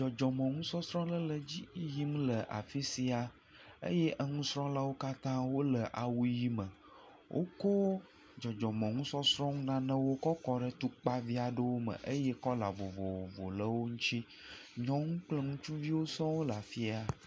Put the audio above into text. Dzɔdzɔmɔnusɔsrɔ̃ aɖe le edzi yim le afi siaa eye enusrɔ̃lawo katã wole awu ʋi me. Wokɔ dzɔdzɔmɔnusɔsrɔ̃ nanewo kɔ kɔ ɖe tukpavi aɖewo me eye kɔla vovovo le wo ŋuti, nyɔnu kple ŋutsuviwo sɔŋ le afi sia.